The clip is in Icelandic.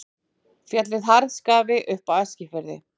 Fjallið Harðskafi upp af Eskifirði.